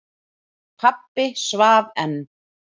Pabbi svaf enn.